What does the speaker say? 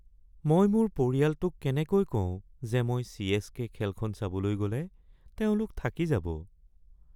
মই মোৰ পৰিয়ালটোক কেনেকৈ কও যে মই চি.এচ.কে. খেলখন চাবলৈ গ'লে তেওঁলোক থাকি যাব